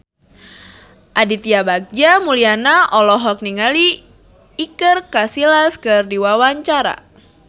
Aditya Bagja Mulyana olohok ningali Iker Casillas keur diwawancara